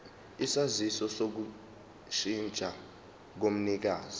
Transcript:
isaziso sokushintsha komnikazi